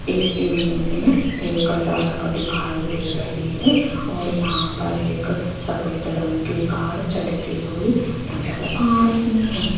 इस इमेज में एक सड़क दिखाई दे रही है और यहां पर एक सफेद रंग के कार चलती हुई नजर आ रही है।